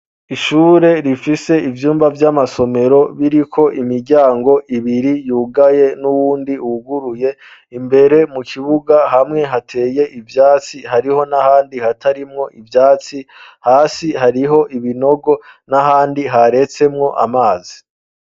Ishure rifise ivyumba vy'amasomero biriko imiryango ibiri yugaye n'uwundi wuguruye imbere mu kibuga hamwe hateye ivyatsi hariho n'ahandi hatarimwo ivyatsi hasi hariho ibinogo n'ahandi haretsemwo amazi.